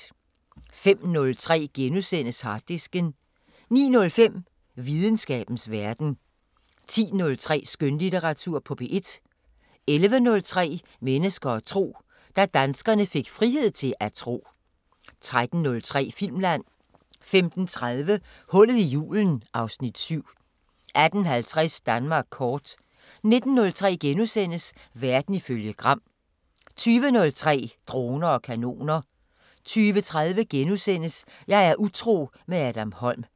05:03: Harddisken * 09:05: Videnskabens Verden 10:03: Skønlitteratur på P1 11:03: Mennesker og tro: Da danskerne fik frihed til at tro 13:03: Filmland 15:30: Hullet i julen (Afs. 7) 18:50: Danmark kort 19:03: Verden ifølge Gram * 20:03: Droner og kanoner 20:30: Jeg er utro – med Adam Holm *